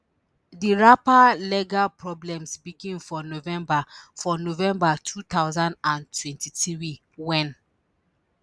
di rapper legal problems begin for november for november two thousand and twenty-three wen